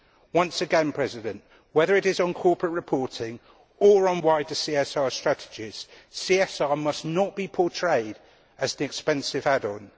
Once again Mr President, whether it is on corporate reporting or on wider CSR strategies, CSR must not be portrayed as an expensive add on.